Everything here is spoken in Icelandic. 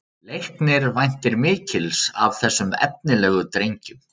Leiknir væntir mikils af þessum efnilegu drengjum